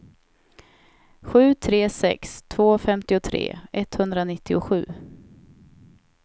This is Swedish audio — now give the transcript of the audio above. sju tre sex två femtiotre etthundranittiosju